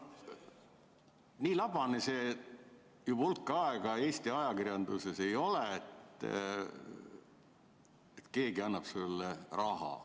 Nii labane pole see enam hulk aega Eesti ajakirjanduses olnud, et keegi annaks sulle raha.